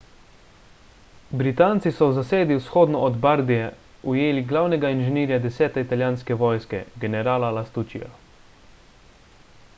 britanci so v zasedi vzhodno od bardie ujeli glavnega inženirja 10 italijanske vojske generala lastuccija